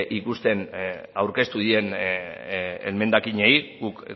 ikusten aurkeztu diren emendakinei guk